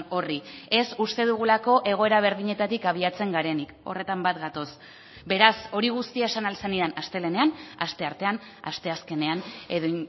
horri ez uste dugulako egoera berdinetatik abiatzen garenik horretan bat gatoz beraz hori guztia esan ahal zenidan astelehenean asteartean asteazkenean edo